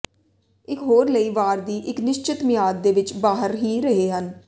ਇਕ ਹੋਰ ਲਈ ਵਾਰ ਦੀ ਇੱਕ ਨਿਸ਼ਚਿਤ ਮਿਆਦ ਦੇ ਵਿੱਚ ਬਾਹਰ ਹੀ ਰਹੇ ਹਨ